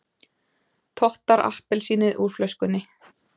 Tottar appelsínið úr flöskunni.